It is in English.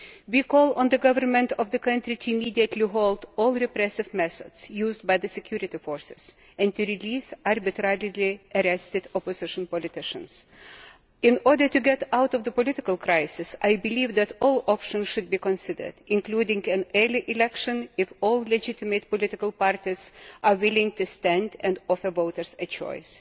We call on the government of the country to immediately halt all repressive methods used by the security forces and to release arbitrarily arrested opposition politicians. In order to get out of the political crisis, I believe that all options should be considered, including an early election if all legitimate political parties are willing to stand and offer voters a choice.